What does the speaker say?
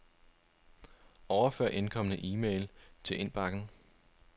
Overfør indkomne e-mail til indbakken.